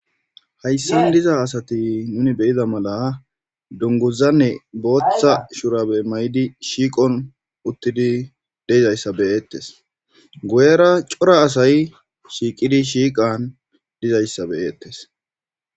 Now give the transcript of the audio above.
Hayssan diza asati nuni beyiza mala dunguzanne booththa shurabe may7idi shiiqon uttidi deizayssa beyeettes guyera cora asay shiiqidi shiiqan dizayssa beyeettes